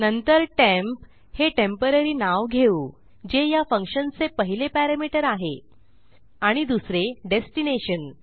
नंतर टेम्प हे टेम्पोररी नाव घेऊ जे ह्या फंक्शनचे पहिले पॅरामीटर आहे आणि दुसरे डेस्टिनेशन